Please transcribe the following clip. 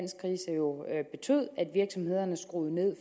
virksomhederne skruede ned